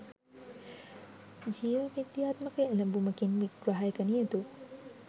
ජීවවිද්‍යාත්මක එළඹූමකින් විග්‍රහයක නියුතු